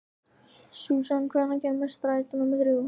Susan, hvenær kemur strætó númer þrjú?